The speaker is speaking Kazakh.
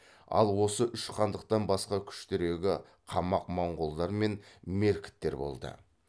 ал осы үш хандықтан басқа күштірегі қамағ моңғолдар мен меркіттер болды